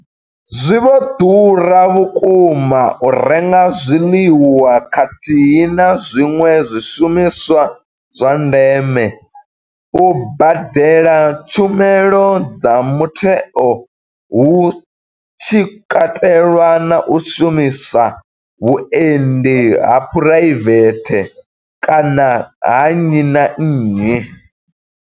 Zwi vho ḓura vhukuma u renga zwiḽiwa khathihi na zwiṅwe zwishumiswa zwa ndeme, u badela tshumelo dza mutheo hu tshi katelwa na u shumisa vhuendi ha phuraivethe kana ha nnyi na nnyi.